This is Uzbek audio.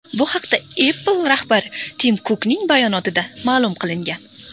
Bu haqda Apple rahbari Tim Kukning bayonotida ma’lum qilingan .